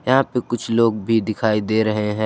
यहां पे कुछ लोग भी दिखाई दे रहे हैं।